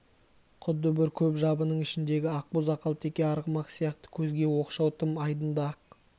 құдды бір көп жабының ішіндегі ақбоз ақалтеке арғымақ сияқты көзге оқшау тым айдынды-ақ